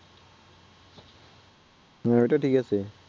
হুম এটা ঠিক আছে